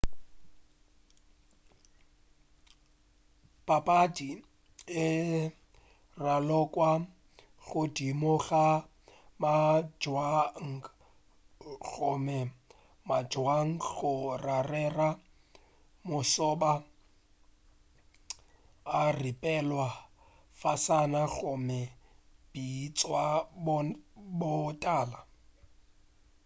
papadi e ralokwa godimo ga mabjang gomme mabjang go rarela mošoba a ripelwa fasana gomme a bitšwa botala